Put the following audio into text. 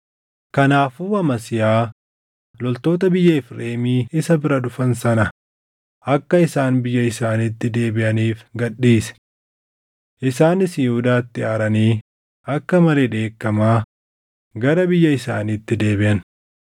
Kanaafuu Amasiyaa loltoota biyya Efreemii isa bira dhufan sana akka isaan biyya isaaniitti deebiʼaniif gad dhiise. Isaanis Yihuudaatti aaranii akka malee dheekkamaa gara biyya isaaniitti deebiʼan.